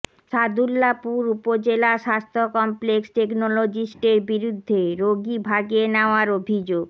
সাদুল্লাপুর উপজেলা স্বাস্থ্য কমপ্লেক্স টেকনোলজিস্টের বিরুদ্ধে রোগী ভাগিয়ে নেওয়ার অভিযোগ